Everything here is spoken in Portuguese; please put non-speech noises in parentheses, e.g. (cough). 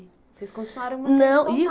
Vocês continuaram? (unintelligible) Não